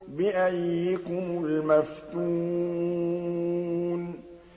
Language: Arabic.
بِأَييِّكُمُ الْمَفْتُونُ